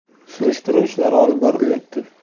Surishtiruv ishlari olib borilyapti.